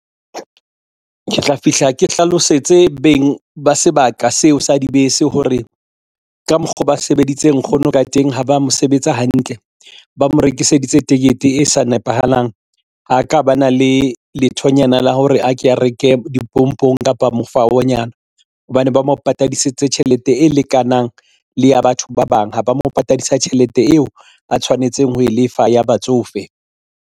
Ke tla fihla ke hlalosetse beng ba sebaka seo sa dibese hore ka mokgo ba sebeditse nkgono ka teng ha ba mo sebetsa hantle ba mo rekiseditse tikete e sa nepahalang. Ha ka ba na le lethonyana la hore a ke a reke dipompong kapa mofaonyana hobane ba mo patadise tjhelete e lekanang le ya batho ba bang ha ba mo patadisa tjhelete eo a tshwanetseng ho e lefa ya batsofe.